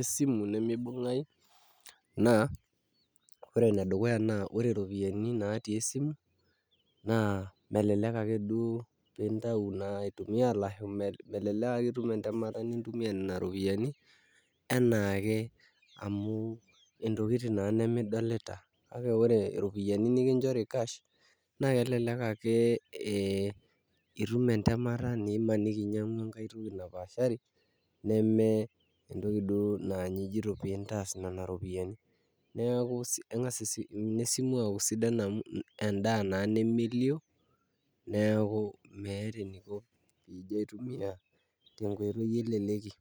esimu nemebunganyu na ore ene dukuya na ore ropiani nati esimu na melelek ake duo intayu aitumia ashu, melelek ake itum entemata nintumia nena ropiani enake amu iropiani nena nemedolita, kake ore ropiani nikinchori cash, na kelelek ake itum entemata nimimaniki inyiangu ake entoki napashari, neme duo entoki na ijio pintas nena ropiani, niaku kengas ine simu aku sidan amu, endaa na nemelio niaku meeta ening tenintumia tenkoiti eleleki.